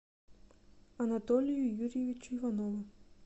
анатолию юрьевичу иванову